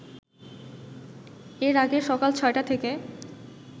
এর আগে সকাল ছয়টা থেকে